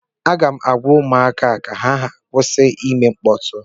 Aga m agwa ụmụaka ka ha kwụsị ịme mkpọtụ